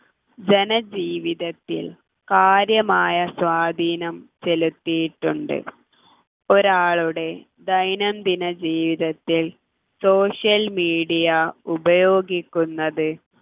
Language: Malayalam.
ജനജീവിതത്തിൽ കാര്യമായ സ്വാധീനം ചെലുത്തിയിട്ടുണ്ട് ഒരാളുടെ ദൈനംദിന ജീവിതത്തിൽ social media ഉപയോഗിക്കുന്നത്